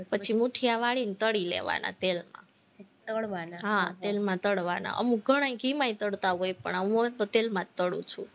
પછી મુઠીયા વાળીને તળી લેવાના તેલમાં તળવાના, હા તેલમાં તળવાના અમુક ઘણાય ઘીમાં ય તળતા હોય પણ હું તો તેલમાં જ તળું છું,